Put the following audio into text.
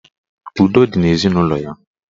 Udo dị n'ezinụlọ ya.